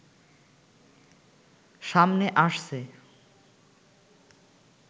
সামনে আসছে